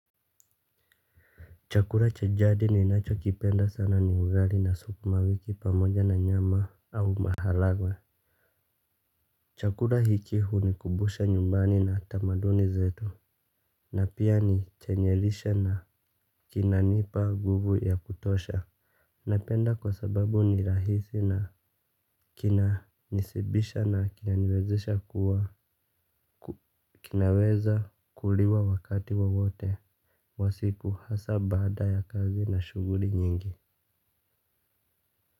Chakula cha jadi ninachokipenda sana ni ugali na sukumawiki pamoja na nyama au maharagwe. Chakura hiki hunikumbusha nyumbani na tamaduni zetu. Na pia ni chenye lishe na kinanipa nguvu ya kutosha. Napenda kwa sababu ni rahisi na kinanishibisha na kinaniwezesha kuwa kinaweza kuliwa wakati wowote wa siku hasa baada ya kazi na shughuli nyingi.